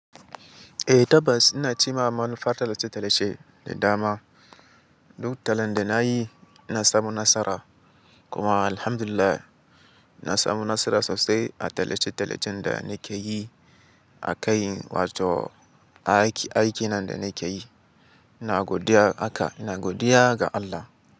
Eh tabbas ina cimma manufar tallace-tallace da dama. Duk tallan da nayi na samu nasara kuma alhamdulillah na samu nasara sosai a tallace-tallacen da nake yi a kai, wato aiki, aiki nan da nake yi. Na godiya aka, na godiya ga Allah.